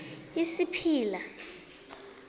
isipila